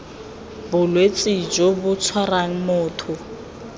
bolwetse jo bo tshwarang motho